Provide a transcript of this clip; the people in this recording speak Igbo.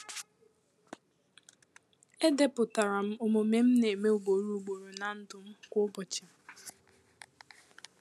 E deputaram omume m n'eme ugboro ugboro na ndu m um kwa ụbochi.